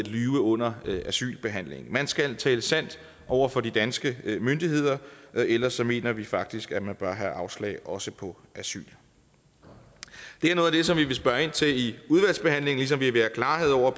at lyve under asylbehandlingen man skal tale sandt over for de danske myndigheder ellers mener vi faktisk at man bør have afslag også på asyl det er noget af det som vi vil spørge ind til i udvalgsbehandlingen ligesom vi vil have klarhed over